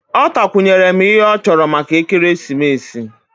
Ọ takwunyere m ihe ọ chọrọ maka ekeresimesi